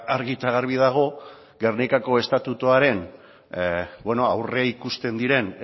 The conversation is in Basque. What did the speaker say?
ba argi eta garbi dago gernikako estatutuan aurreikusten diren